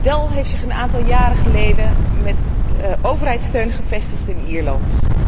Dell heeft zich een aantal jaren geleden met overheidssteun gevestigd in Ierland.